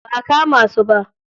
Ba a kama su ba